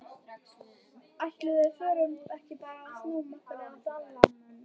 Ætli við förum ekki bara að snúa okkur að Dalamönnum?